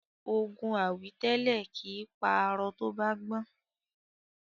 Ogun àwítẹ́lẹ̀ kìí pa arọ tó bá gbọ́n.